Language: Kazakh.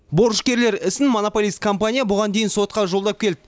борышкерлер ісін монополист компания бұған дейін сотқа жолдап келді